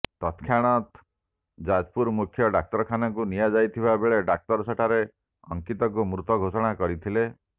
ତତ୍କ୍ଷଣାତ୍ ଯାଜପୁର ମୁଖ୍ୟ ଡ଼ାକ୍ତରଖାନାକୁ ନିଆଯାଇଥିବା ବେଳେ ଡ଼ାକ୍ତର ସେଠାରେ ଅଙ୍କିତକୁ ମୃତ ଘୋଷଣା କରିଥିଲେ